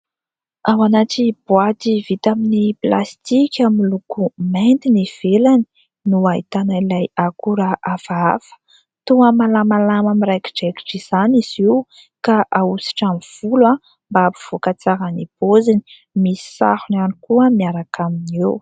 Ao anaty boaty vita amin'ny plastika miloko mainty ny ivelany no ahitana ilay akora hafahafa. Toa malamalama miraikidraikitra izany izy io ka ahosotra amin'ny volo mba hampivoaka tsara ny paoziny. Misy sarony ihany koa miaraka aminy eo.